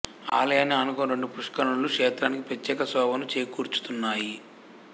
ఆలయాన్ని ఆనుకొని రెండు పుష్కరుణులు క్షేత్రానికి ప్రత్రేక శోభను చేకూర్చుతున్నాయి